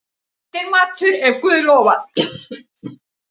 Eftirmatur, ef guð lofar.